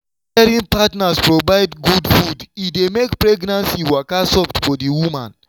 wen caring partners provide good food e dey make pregnancy waka soft for the woman.